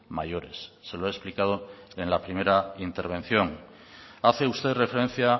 mayores se lo he explicado en la primera intervención hace usted referencia